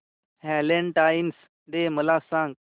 Valentine's day मला सांग